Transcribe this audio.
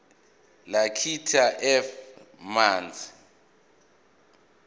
lakithi f manzi